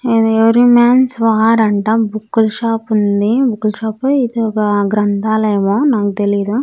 ఇది every man's war అంటా book ల షాపు ఉంది. బుక్కు ల షాప్ ఓ ఇది ఒక గ్రంథాలయమో నాకు తెలీదు.